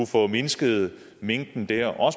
formindsket mængden dér